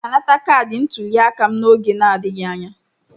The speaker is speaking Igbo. M ga-anata kaadị ntuliaka m n'oge na-adịghị anya.